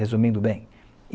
Resumindo bem.